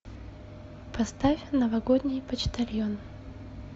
поставь новогодний почтальон